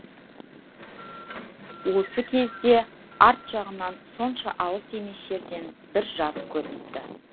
осы кезде арт жағынан сонша алыс емес жерден бір жарық көрініпті